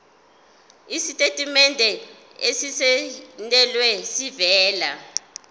isitatimende esisayinelwe esivela